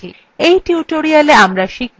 in tutorialwe আমরা শিখব :